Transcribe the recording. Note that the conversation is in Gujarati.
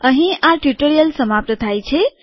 અહીં આ ટ્યુટોરીઅલ સમાપ્ત થાય છે